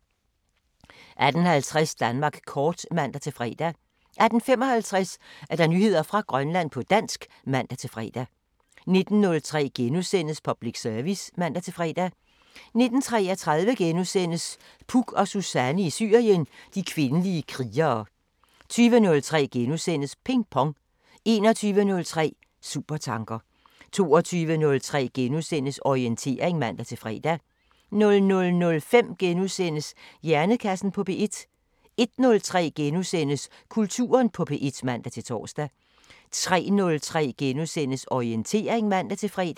18:50: Danmark kort (man-fre) 18:55: Nyheder fra Grønland på dansk (man-fre) 19:03: Public Service *(man-fre) 19:33: Puk og Suzanne i Syrien: De kvindelige krigere * 20:03: Ping Pong * 21:03: Supertanker 22:03: Orientering *(man-fre) 00:05: Hjernekassen på P1 * 01:03: Kulturen på P1 *(man-tor) 03:03: Orientering *(man-fre)